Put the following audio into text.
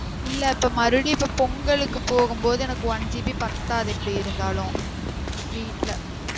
இல்ல இப்ப மறுடி இப்ப பொங்கலுக்கு போகும் போது எனக்கு one GB பாத்தாது எப்படி இருந்தாலும் வீட்டுல